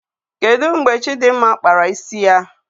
Kedụ mgbe Chidimma kpara isi ya?